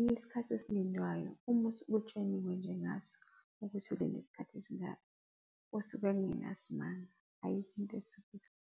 Isikhathi esilindwayo uma usuke utsheliwe nje ngaso ukuthi ulinda isikhathi esingaka kusuke kungenasimanga. Ayikho into esuke .